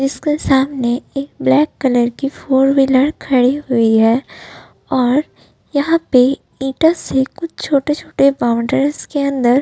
इसके सामने एक ब्लैक कलर की फोर व्हीलर खड़ी हुई है और यहाँ पे ईटों से कुछ छोटे-छोटे बॉउन्ड्रीस के अंदर --